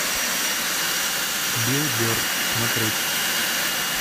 билл берр смотреть